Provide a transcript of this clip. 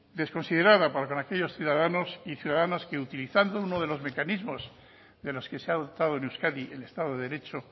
desconsiderada para con aquellos ciudadanos y ciudadanas que utilizando uno de los mecanismos de los que se ha dotado en euskadi el estado de derecho